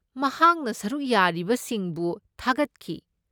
ꯃꯍꯥꯛꯅ ꯁꯔꯨꯛ ꯌꯥꯔꯤꯕꯁꯤꯡꯕꯨ ꯊꯥꯒꯠꯈꯤ ꯫